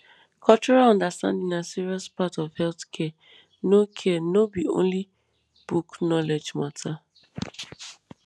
cultural understanding na serious part of health care no care no be only book knowledge matter